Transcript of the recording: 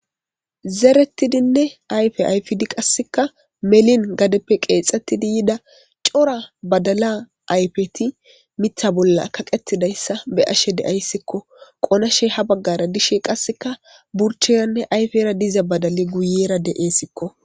Zeretidinne ayfe ayfid qase melin qeexetida yida cora badala ayfeti Mitha bolla kaqetidaysa be'ashe de'aysko. Qonashey ha bagara dishe burcheranne ayfera diza badalay guyera desko.